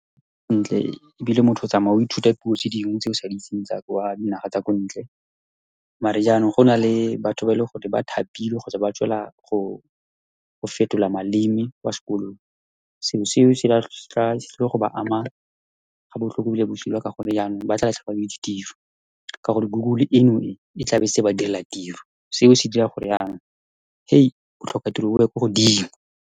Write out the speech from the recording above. Ntle, ebile motho o tsamaya o ithuta puo tse dingwe, tse o sa di itseng, tsa kwa dinageng tsa kwa ntle. Mare jaanong, go na le batho ba, e le goreng ba thapilwe kgotsa ba tswela go fetola maleme kwa sekolong, selo seo, , se tlile go ba ama ga botlhoko, ebile bosula, ka gonne jaanong ba tla latlhegelwa ke ditiro, ka gore Google eno e, e tlabe e setse e ba direla tiro. Seo se dira gore jaanong, , botlhoka tiro bo ye kwa godimo.